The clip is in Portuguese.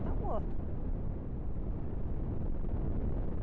Está morta.